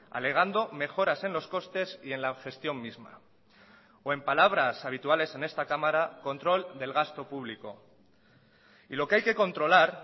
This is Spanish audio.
alegando mejoras en los costes y en la gestión misma o en palabras habituales en esta cámara control del gasto público y lo que hay que controlar